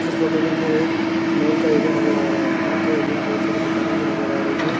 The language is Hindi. इस फोटो के अंदर एक मॉल का एरिया नजर आ रहा है। मॉल के एरिया में बहुत सारी दुकानें भी नजर आ रही है।